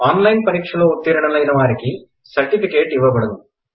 on line పరీక్షలో ఉత్తీర్ణులైనవారికి వారికి సర్టిఫికేట్ ఇవ్వబడును